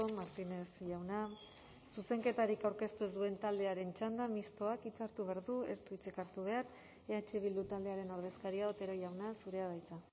martínez jauna zuzenketarik aurkeztu ez duen taldearen txanda mistoak hitza hartu behar du ez du hitzik hartu behar eh bildu taldearen ordezkaria otero jauna zurea da hitza